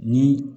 Ni